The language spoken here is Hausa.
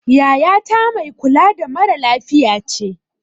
Yaya ta mai kula da mara lafiya ce